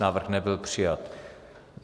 Návrh nebyl přijat.